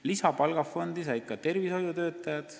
Lisaraha said ka tervishoiutöötajad.